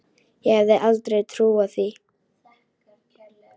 Ég hefði aldrei trúað því.